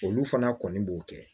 Olu fana kɔni b'o kɛ